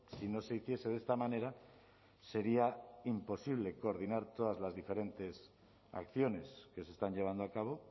si no se hiciese de esta manera sería imposible coordinar todas las diferentes acciones que se están llevando a cabo